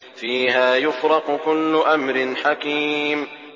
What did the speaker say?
فِيهَا يُفْرَقُ كُلُّ أَمْرٍ حَكِيمٍ